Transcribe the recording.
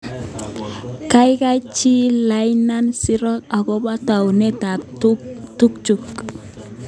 Kaikai chil laina siro akobo taunet ab tukju.